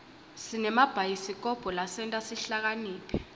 sinemabhayisikobho lasenta sihlakaniphe